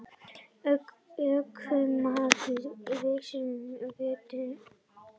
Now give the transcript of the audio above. Ökumaðurinn missti meðvitund